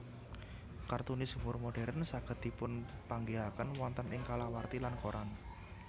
Kartunis humor modern saged dipunpanggihaken wonten ing kalawarti lan koran